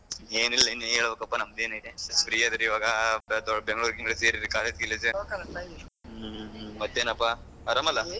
ಏನಿಲ್ಲ ಇನ್ ನೀನೇ ಹೇಳ್ಬೇಕಪ್ಪ ನಂದೇನಿಲ್ಲ ದೊಡ್ Bengaluru ಗಿಂಗ್ಳುರ್ ಸೇರಿದಿರಿ ಈಗ college ಗಿಲೇಜ್, ಮತ್ತೇನಪ್ಪಾ ಆರಂ ಅಲ್ಲಾ?